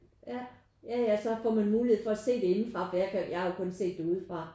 Ja ja ja så får man mulighed for at se det indefra for jeg kan jo ikke jeg har jo kun set det udefra